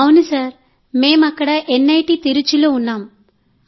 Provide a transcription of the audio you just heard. sir అవును మేం అక్కడ నిట్ తిరుచ్చిలో ఉన్నాం